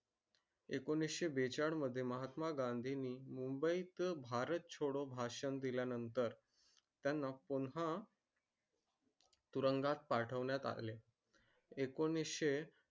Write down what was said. एकोणीसशे बेचाळीस मध्ये महात्मा गांधी नी मुंबईत भारत छोडो भाषण दिल्यानंतर त्यांना पुन्हा. तुरुंगात पाठवण्यात आले. एकोणीसशे.